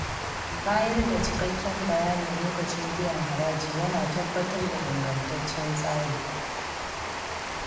Bayar da cikakken bayani lokacin biyan haraji yana tabbatar da ingantaccen tsari.